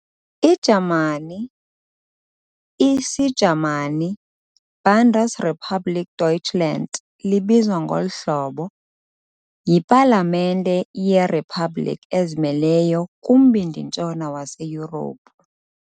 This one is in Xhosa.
iJamani, IsiJamani- Bundesrepublik Deutschland, libizwa ngolu hlobo "ˈbʊndəsʁepuˌbliːk ˈdɔʏtʃlant", yipalamente yeriphabhlikhi ezimeleyo kumbindi-ntshona waseYurophu.